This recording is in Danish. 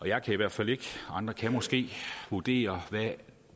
jeg kan i hvert fald ikke andre kan måske vurdere hvad